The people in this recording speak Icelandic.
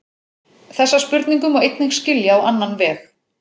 Þessa spurningu má einnig skilja á annan veg.